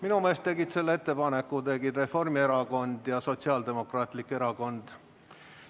Minu meelest tegid selle ettepaneku Reformierakond ja Sotsiaaldemokraatlik Erakond.